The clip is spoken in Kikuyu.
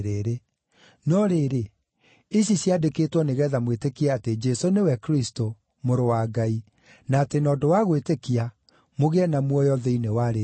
No rĩrĩ, ici ciandĩkĩtwo nĩgeetha mwĩtĩkie atĩ Jesũ nĩwe Kristũ, Mũrũ wa Ngai, na atĩ na ũndũ wa gwĩtĩkia mũgĩe na muoyo thĩinĩ wa rĩĩtwa rĩake.